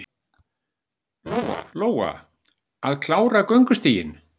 Lóa: Að klára göngustíginn?